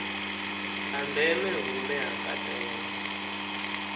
ha ndeme hune ha katela